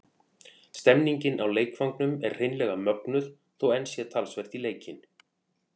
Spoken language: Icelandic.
Stemningin á leikvangnum er hreinlega mögnuð þó enn sé talsvert í leikinn.